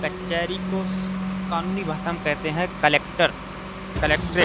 कचहरी को कानूनी भाषा में कहते हैं कलेक्टर कलेक्ट्रेट ।